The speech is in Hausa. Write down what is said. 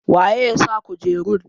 waye ya sa kujerun?